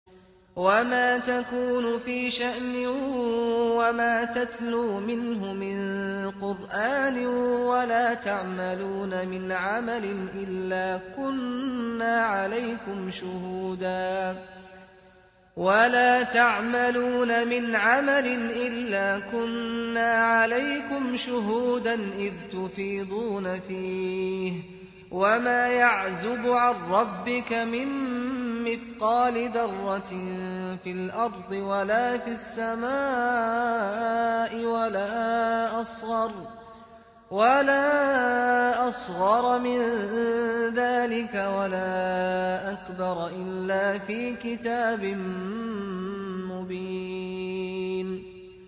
وَمَا تَكُونُ فِي شَأْنٍ وَمَا تَتْلُو مِنْهُ مِن قُرْآنٍ وَلَا تَعْمَلُونَ مِنْ عَمَلٍ إِلَّا كُنَّا عَلَيْكُمْ شُهُودًا إِذْ تُفِيضُونَ فِيهِ ۚ وَمَا يَعْزُبُ عَن رَّبِّكَ مِن مِّثْقَالِ ذَرَّةٍ فِي الْأَرْضِ وَلَا فِي السَّمَاءِ وَلَا أَصْغَرَ مِن ذَٰلِكَ وَلَا أَكْبَرَ إِلَّا فِي كِتَابٍ مُّبِينٍ